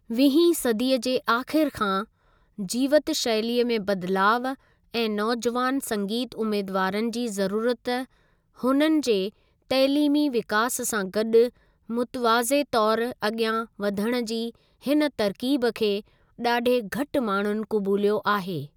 वीहीं सदीअ जे आख़िरि खां, जीवति शैली में बदलाउ ऐं नौजुवानि संगीतु उम्मेदुवारनि जी ज़रुरति हुननि जे तइलीमी विकास सां गॾु मुतिवाज़े तौरु अगि॒यां वधणु जी हिन तरकीबु खे डा॒ढे घटि माण्हुनि क़बूलियो आहे।